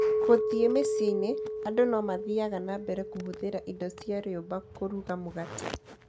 Gũthiĩ mĩciĩ-inĩ, andũ no mathiaga na mbere kũhũthĩra indo cia rĩũmba kũruga mũgate.